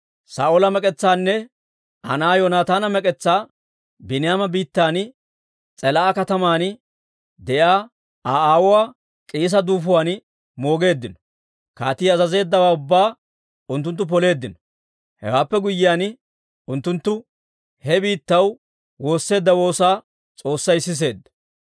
Saa'oola mek'etsaanne Aa na'aa Yoonataana mek'etsaa Biiniyaama biittan S'elaa'a kataman de'iyaa Aa aawuwaa K'iisa duufuwaan moogeeddino. Kaatii azazeeddawaa ubbaa unttunttu poleeddino; hewaappe guyyiyaan, unttunttu he biittaw woosseedda woosaa S'oossay siseedda.